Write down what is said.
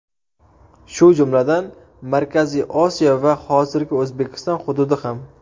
Shu jumladan, Markaziy Osiyo va hozirgi O‘zbekiston hududi ham.